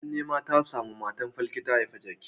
Abin nema ya samu matar falke ta haifi jaki.